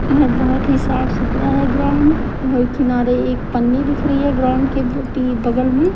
और बहुत ही साफ सुतरा है ग्राउंड और किनारे एक पन्नी दिख रही है ग्राउंड के बी बगल में --